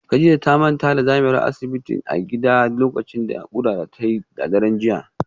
Kadijah ta manta da zamewar asibitinta a gida lokacin naƙuda da ta yi a daren jiya